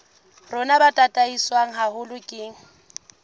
rona bo tataiswe haholo ke